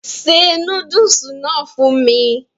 se núdùsì náà fún mi